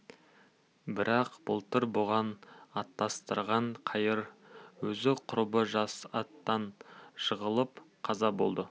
бірақ былтыр бұған атастырған қайыр өзі құрбы жас аттан жығылып қаза болды